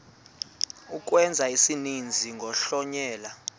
ukwenza isininzi kuhlonyelwa